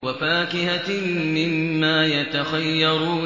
وَفَاكِهَةٍ مِّمَّا يَتَخَيَّرُونَ